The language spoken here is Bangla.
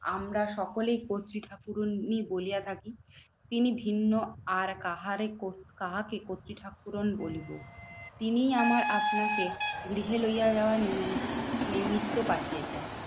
আমরা সকলেই কর্ত্রী ঠাকুরানীই বলিয়া থাকি তিনি ভিন্ন। আর কাহারে কাহাকে কর্ত্রী ঠাকুরন বলিবো? তিনি আমার আপনাকে গৃহে লইয়া যাওয়ার নিমন নিমিত্ত পাঠিয়েছেন।